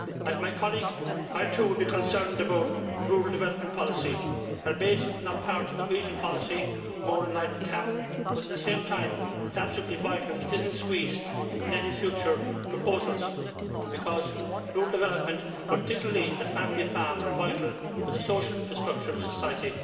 Like my colleague, I, too, would be concerned about rural development policy albeit not as part of the cohesion policy, more in line with the CAP but, at the same time, it is absolutely vital that it is not squeezed in any future proposals because rural development, and particularly the family farm, is vital for the social infrastructure of society.